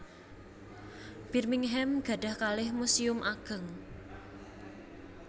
Birmingham gadhah kalih muséum ageng